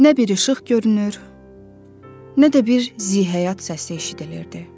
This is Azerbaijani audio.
Nə bir işıq görünür, nə də bir zihəyat səsi eşidilirdi.